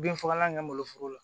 Bin fagalan kɛ n bolo foro la